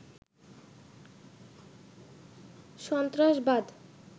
সন্ত্রাসবাদ